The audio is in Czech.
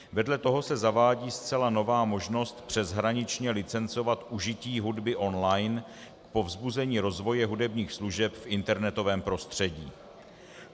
Vedle toho se zavádí zcela nová možnost přeshraničně licencovat užití hudby online k povzbuzení rozvoje hudebních služeb v internetovém prostředí.